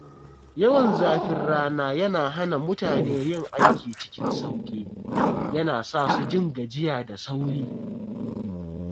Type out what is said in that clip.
Yawan zafin rana yana hana mutane yin aiki cikin sauƙi, yana sa su jin gajiya da sauri.